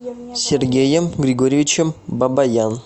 сергеем григорьевичем бабаян